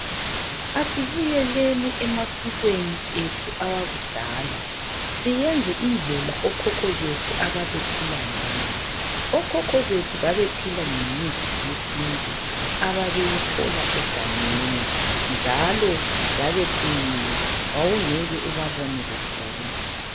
Asibuyeleni emasikweni ethu awakudala. Siyenze indlela okhokho bethu ababephila ngayo Okhokho bethu babephila ngemithi yesintu ababeyithola egangeni, njalo babeqinile wawungeke ubabone begula.